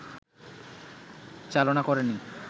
চালনা করেনি